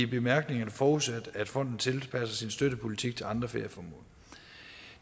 bemærkningerne forudsat at fonden tilpasser sin støttepolitik til andre ferieformål